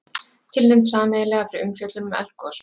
Tilnefnd sameiginlega fyrir umfjöllun um eldgos